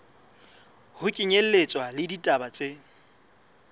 ho kenyelletswa le ditaba tse